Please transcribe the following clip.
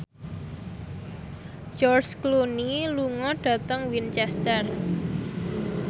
George Clooney lunga dhateng Winchester